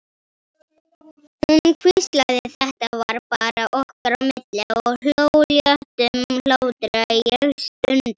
Hún hvíslaði, þetta var bara okkar á milli, og hló léttum hlátri, ég stundi.